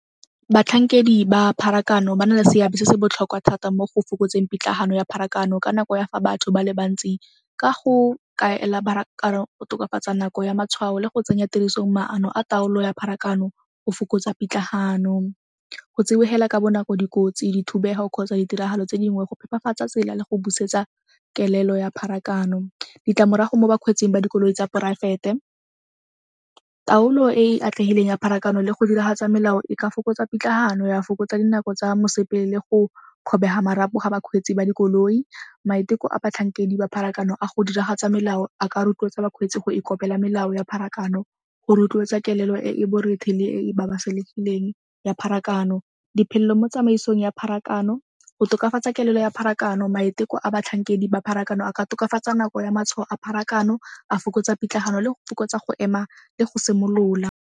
Batlhankedi ba pharakano ba na le seabe se se botlhokwa thata mo go fokotseng pitlagano ya pharakano ka nako ya fa batho ba le bantsi ka go kaela pharakano go tokafatsa nako ya matshwao le go tsenya tirisong maano a taolo ya pharakano go fokotsa pitlagano. Go tsibogela ka bonako dikotsi di thubega kgotsa ditiragalo tse dingwe go phepafatsa tsela le go busetsa kelelo ya pharakano. Ditlamorago mo bakgweetsing ba dikoloi tsa poraefete, taolo e e atlegileng a pharakano le go diragatsa melao e ka fokotsa pitlagano ya fokotsa dinako tsa mosepele le go kgobega marapo ga bakgweetsi ba dikoloi. Maiteko a batlhankedi ba pharakano a go diragatsa melao a ka rotloetsa bakgweetsi go ikopela melao ya pharakano go rotloetsa kelelo e borethe le ya pharakano. Diphelelo mo tsamaisong ya pharakano, go tokafatsa kelelo ya pharakano maiteko a batlhankedi ba pharakano a ka tokafatsa nako ya matshwao a pharakano a fokotsa pitlagano le go fokotsa go ema le go simolola.